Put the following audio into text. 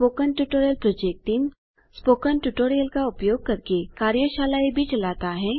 spoken tutorial project team spoken tutorial का उपयोग करके कार्यशालाएँ भी चलाता है